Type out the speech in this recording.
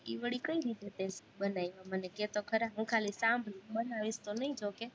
ઈ વળી કઈ રીતે તે બનાવા, મને કેતો ખરા, હું ખાલી સાંભળું બનાવીશ તો નઈ જોકે